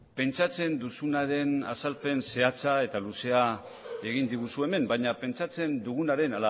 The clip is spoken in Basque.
pentsatzen duzunaren azalpen zehatza eta luzea egin diguzu hemen baina pentsatzen dugunaren